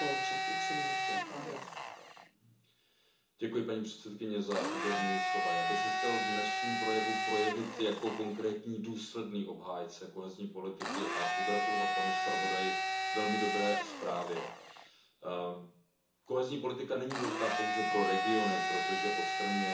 Paní předsedající, já bych se chtěl v dnešním projevu projevit jako konkrétní, důsledný obhájce kohezní politiky a pogratulovat panu zpravodaji k velmi dobré zprávě. Kohezní politika není důležitá pouze pro regiony, protože odstraňuje znevýhodnění, ale tím, že konkrétně pomáhá